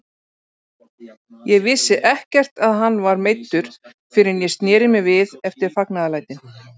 Ég vissi ekkert að hann var meiddur fyrr en ég sneri mér við eftir fagnaðarlætin.